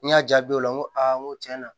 N y'a jaabi o la n ko aa n ko tiɲɛna